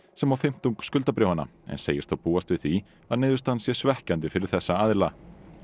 sem á fimmtung skuldabréfanna en segist þó búast við því að niðurstaðan sé svekkjandi fyrir þessa aðila